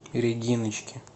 региночки